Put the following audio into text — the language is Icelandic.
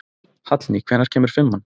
Hallný, hvenær kemur fimman?